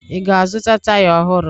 Ị ga-azụta taya ọhụrụ?